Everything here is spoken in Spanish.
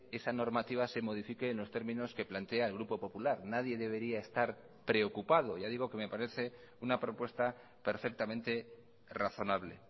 esa normativa se modifique en los términos que plantea el grupo popular nadie debería estar preocupado ya digo que me parece una propuesta perfectamente razonable